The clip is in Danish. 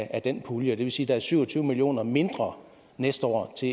af den pulje det vil sige der er syv og tyve million kroner mindre næste år til